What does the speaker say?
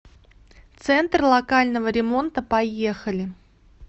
центр локального ремонта поехали